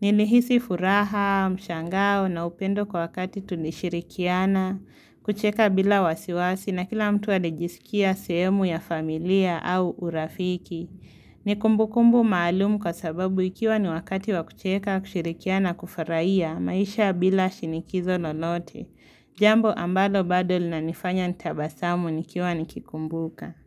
Nilihisi furaha, mshangao na upendo kwa wakati tulishirikiana. Kucheka bila wasiwasi na kila mtu alijisikia sehemu ya familia au urafiki. Ni kumbu kumbu maalumu kwa sababu ikiwa ni wakati wa kucheka, kusherehekea na kufarahia maisha bila shinikizo lolote. Jambo ambalo bado linanifanya nitabasamu nikiwa nikikumbuka.